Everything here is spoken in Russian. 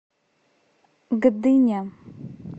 гдыня